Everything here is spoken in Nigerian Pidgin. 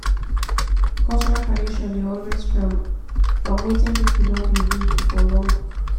cultural tradition dey always from from wetin pipo don dey do for long